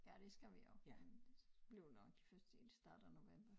Ja det skal vi jo men det bliver nok først i start af november